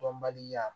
Dɔnbaliya